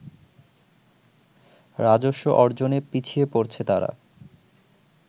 রাজস্ব অর্জনে পিছিয়ে পড়ছে তারা